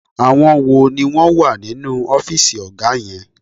Àwọn wo ni wọ́n wà nínú ọ́fìsì ọ̀gá yẹn?